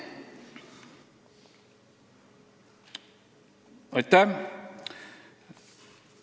Aitäh!